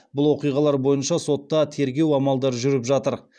бұл оқиғалар бойынша сотта тергеу амалдары жүріп жатыр